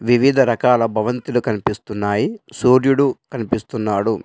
వివిధ రకాల భవంతులు కనిపిస్తున్నాయి. సూర్యుడు కనిపిస్తున్నాడు.